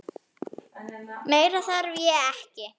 Meira þarf ég ekki.